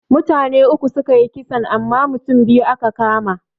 Mutane uku sukayi kisan amma mutane biyu aka kama.